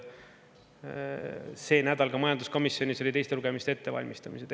see nädal ka majanduskomisjonis olid teiste lugemiste ettevalmistamised.